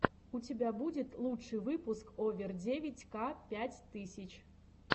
у тебя будет лучший выпуск овер девять ка пять тысяч